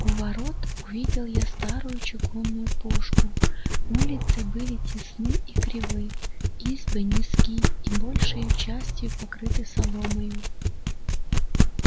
у ворот увидел я старую чугунную пушку улицы были тесны и кривы избы низки и большею частию покрыты соломою